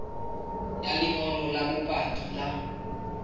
ya lengolo la bopaki la